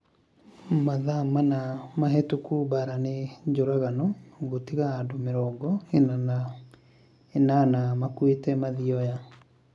Mathaa mana mahĩtũku Mbaara nĩ njũragano gũtiga andũ mĩrongo ina na inana makuĩte Mathioya